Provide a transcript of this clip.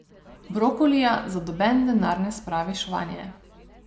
Brokolija za noben denar ne spraviš vanje.